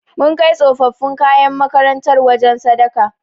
Mun kai tsofaffin kayan makarantar wajen sadaka.